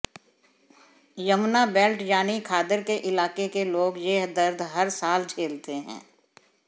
Yamuna belt यानी खादर के इलाके के लोग यह दर्द हर साल झेलते हैं